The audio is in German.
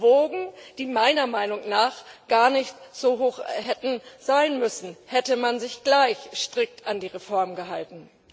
Wogen, die meiner Meinung nach gar nicht so hoch hätten sein müssen, hätte man sich gleich strikt an die Reform gehalten.